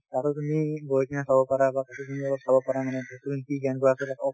তাতে তুমি গৈ কিনে চাব পাৰা বা